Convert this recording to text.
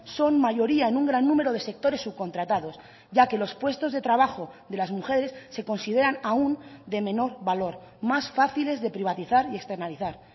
son mayoría en un gran número de sectores subcontratados ya que los puestos de trabajo de las mujeres se consideran aún de menor valor más fáciles de privatizar y externalizar